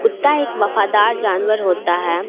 कुत्ता एक वफादार जानवर होता है।